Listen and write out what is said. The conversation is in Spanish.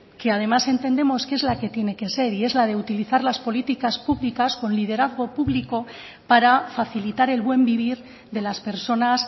que además entendemos que es la que tiene que ser y es la de utilizar las políticas públicas con liderazgo público para facilitar el buen vivir de las personas